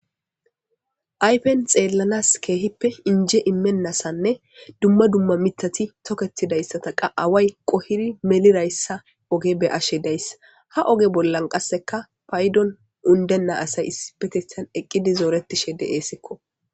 Ayfen xeellanas keehippe inje imennasanne dumma dumma mitati tokettidayssata qa away qohiri melirayssa oge be ashe dayssa ha oge bollan qasseka paydon undenna asay isi petitan eqqidi zooretishe de'eessikko.